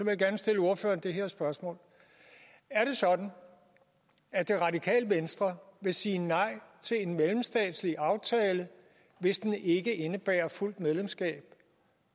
jeg gerne stille ordføreren det her spørgsmål er det sådan at det radikale venstre vil sige nej til en mellemstatslig aftale hvis den ikke indebærer fuldt medlemskab